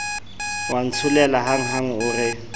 wa ntsholela hanghang o re